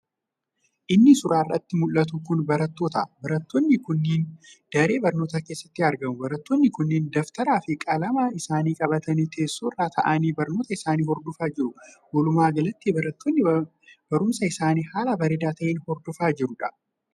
Inii suuraa irratti muldhatu kun barattoota. Barattoonni kunniin daree barnootaa keessatti argamu. Barattoonni kunniin daftara fi qalama isaanii qabatanii teessoo irra taa'anii barnoota isaanii hordofaa jiru. Wolumaa galatti barattoonni barumsa isaanii halaa bareedaa ta'een hordofaa jiru.